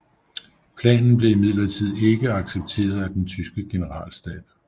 Planen blev imidlertid ikke accepteret af den tyske generalstab